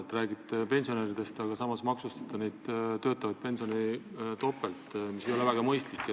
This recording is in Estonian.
Te räägite pensionäridest, aga samas maksustate töötavaid pensionäre topelt, mis ei ole väga mõistlik.